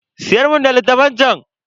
Siyar mun da littafan chan.